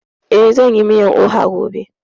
Eh, zan yi miyan oha gobe